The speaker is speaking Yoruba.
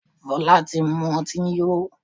Fola tí mú ọtí yó.